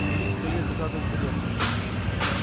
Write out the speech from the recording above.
вели скорей закладывать карету